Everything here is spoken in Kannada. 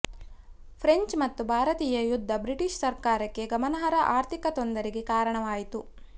ಫ್ರೆಂಚ್ ಮತ್ತು ಭಾರತೀಯ ಯುದ್ಧ ಬ್ರಿಟಿಷ್ ಸರ್ಕಾರಕ್ಕೆ ಗಮನಾರ್ಹ ಆರ್ಥಿಕ ತೊಂದರೆಗೆ ಕಾರಣವಾಯಿತು